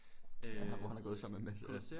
Ja hvor han har gået sammen med Mads også